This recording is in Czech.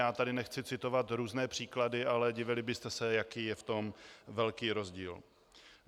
Já tady nechci citovat různé příklady, ale divili byste se, jaký je v tom velký rozdíl.